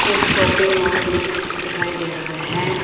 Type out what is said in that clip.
एक shopping mall दिख दिखाई दे रहा है।